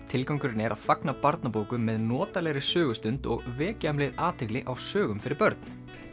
tilgangurinn er að fagna barnabókum með notalegri sögustund og vekja um leið athygli á sögum fyrir börn